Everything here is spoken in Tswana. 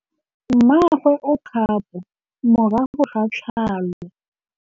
Mmagwe o kgapô morago ga tlhalô.